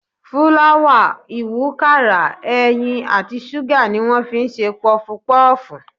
Fúláwà, ìwúkàrà, ẹyin àti ṣúgà ni wọ́n fi ń ṣe pọfupọ́ọ̀fù.